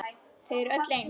Þau eru öll eins.